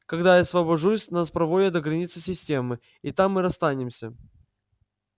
когда я освобожусь нас проводят до границы системы и там мы расстанемся